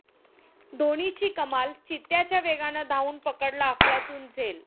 धोनीची कमाल, चित्त्याच्या वेगानं धावून पकडला अफलातून झेल